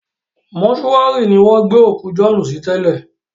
Mọ́túárì ni wọ́n gbé òkú Jọ̀ọ́ọ́nù sí tẹ́lẹ̀